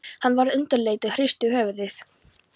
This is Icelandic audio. Hann varð undirleitur og hristi höfuðið.